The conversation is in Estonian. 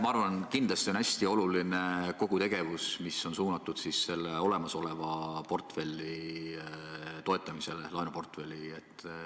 Ma arvan, et kindlasti on hästi oluline kogu tegevus, mis on suunatud olemasoleva laenuportfelli toetamisele.